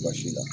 Baasi la